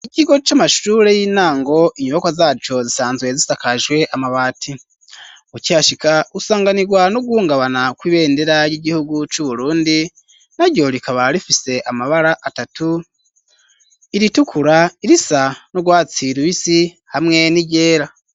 Ikigo c'amashure y'intango inyubako zaco zisanzwe zisakajwe amabati ukihashika usanganirwa no guhungabana kw'ibendera ry'igihugu c'uburundi naryo rikaba rifise amabara atatu iri tukura irisa n'urwatsi rubisi hamwe n'iryera.